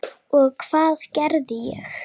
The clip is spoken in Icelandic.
Og hvað gerði ég?